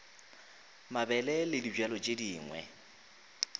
mabele le dibjalo tše dingwe